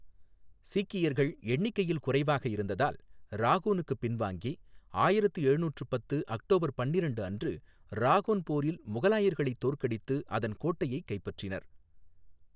சீக்கியர்கள் எண்ணிக்கையில் குறைவாக இருந்ததால் ராகோனுக்குப் பின்வாங்கி, ஆயிரத்து எழுநூற்று பத்து அக்டோபர் பன்னிரண்டு அன்று ராகோன் போரில் முகலாயர்களைத் தோற்கடித்து அதன் கோட்டையைக் கைப்பற்றினர்.